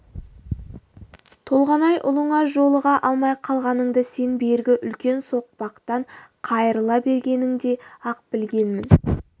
толғанай ұлыңа жолыға алмай қалғаныңды сен бергі үлкен соқпақтан қайырыла бергеніңде-ақ білгенмін